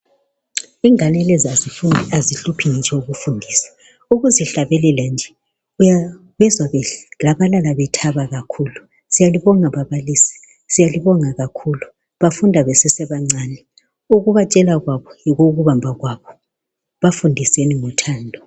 Ingane lezi azihluphi ngitsho ukuzifundisa, ukuzihlabelela nje uyabezwa bekilabalala bethaba kakhulu siyalibonga babalisi siyalibonga kakhulu bafunda besesebancani ukubatshela kwabo yikubamba kwabo bafundiseni ngothando.